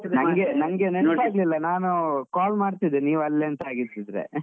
ನನ್ಗೆ ನನ್ಗೆ ನೆನಪಾಗ್ಲಿಲ್ಲ, ನಾನು call ಮಾಡ್ತಿದ್ದೆ ನೀವ್ ಅಲ್ಲಿ ಅಂತ ಆಗಿತಿದ್ರೆ .